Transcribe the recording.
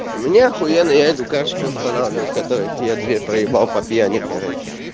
у меня ахуенный я иду короче устанавливать которая фея-по пьяни короче